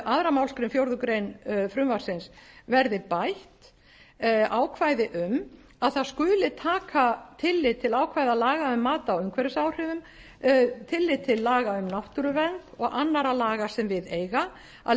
aðra málsgrein fjórðu grein frumvarpsins verði bætt ákvæði um að það skuli taka tillit til ákvæða laga um mat á umhverfisáhrifum tillit til laga um náttúruvernd og annarra laga sem við eiga að